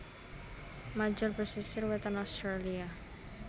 major pesisir wétan Australia